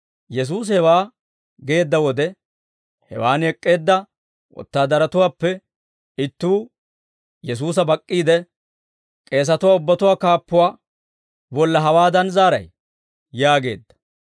Yesuusi hewaa geedda wode, hewaan ek'k'eedda wotaadaratuwaappe ittuu Yesuusa bak'k'iide, «K'eesatuwaa ubbatuwaa kaappuwaa bolla hawaadan zaaray?» yaageedda.